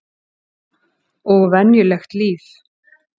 Og venjulegt líf.